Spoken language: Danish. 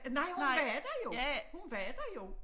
Nej hun var der jo hun var der jo